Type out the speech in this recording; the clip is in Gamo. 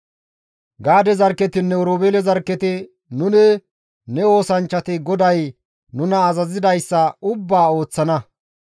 Gaade zarkketinne Oroobeele zarkketi, «Nuni ne oosanchchati GODAY nuna azazidayssa ubbaa ooththana.